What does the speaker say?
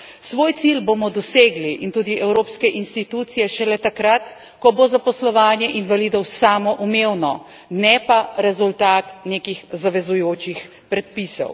Svoj cilj bomo dosegli in tudi evropske institucije šele takrat, ko bo zaposlovanje invalidov samoumevno, ne pa rezultat nekih zavezujočih predpisov.